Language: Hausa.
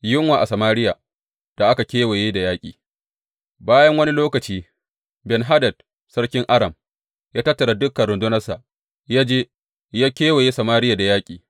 Yunwa a Samariya da aka kewaye da yaƙi Bayan wani lokaci, Ben Hadad sarkin Aram ya tattara dukan rundunarsa, ya je ya kewaye Samariya da yaƙi.